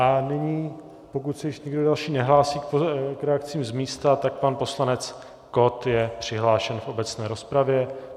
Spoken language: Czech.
Nyní, pokud se již nikdo další nehlásí k reakcím z místa, tak pan poslanec Kott je přihlášen v obecné rozpravě.